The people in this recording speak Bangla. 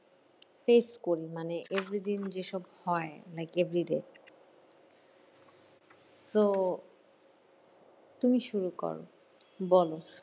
Fresh করি মানে evrey দিন যেসব হয় like a video so তুমি শুরু করো বলো